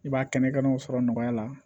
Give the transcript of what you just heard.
I b'a kɛnɛ kɛnɛw sɔrɔ nɔgɔya la